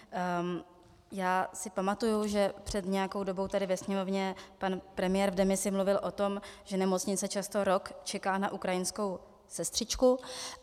Já si pamatuji, že před nějakou dobou tady ve Sněmovně pan premiér v demisi mluvil o tom, že nemocnice často rok čeká na ukrajinskou sestřičku.